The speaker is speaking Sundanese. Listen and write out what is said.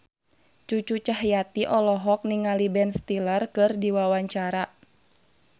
Cucu Cahyati olohok ningali Ben Stiller keur diwawancara